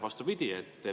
Vastupidi.